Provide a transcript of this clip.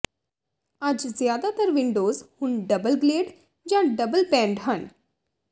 ਅੱਜ ਜ਼ਿਆਦਾਤਰ ਵਿੰਡੋਜ਼ ਹੁਣ ਡਬਲ ਗਲੇਡ ਜਾਂ ਡਬਲ ਪੈਨਡ ਹਨ